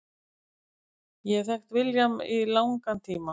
Ég hef þekkt William í langan tíma.